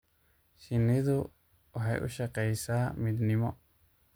Shinnidu waxay u shaqaysaa midnimo.